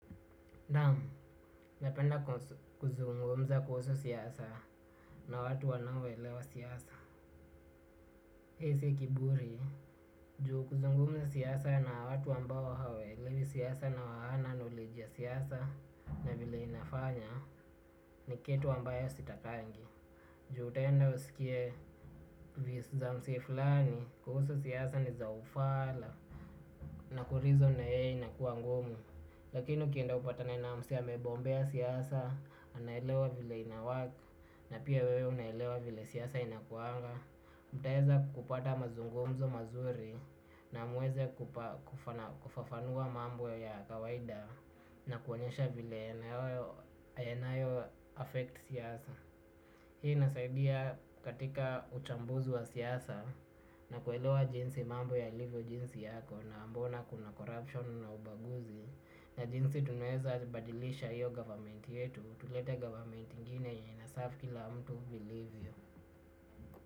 Naam, napenda kuzungumza kuhusu siasa na watu wanaoelewa siasa. Hii si kiburi, juu kuzungumza siasa na watu ambawo hawaelewi siasa na hawana knowledge ya siasa na vile inafanya ni kitu ambayo sitakangi. Juu utenda usikie views za mse fulani kuhusu siasa ni za ufala. Na kurizon na yeye inakuwa ngumu, lakini ukienda upatane na mse amebombea siasa, anaelewa vile inawork, na pia wewe unaelewa vile siasa inakuanga. Mtaeza kupata mazungomzo mazuri na muweze kufafanua mambo ya kawaida na kuonyesha vile yanayo affect siasa. Hii inasaidia katika uchambuzu wa siasa na kuelewaa jinsi mambo yalivyo jinsi yako na mbona kuna corruption na ubaguzi na jinsi tunaweza badilisha iyo government yetu tulete government ingine yenye inaserve kila mtu vilivyo.